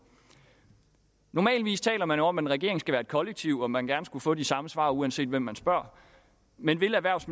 normalt taler man jo om at en regering skal være et kollektiv og at man gerne skulle få de samme svar uanset hvem man spørger men vil erhvervs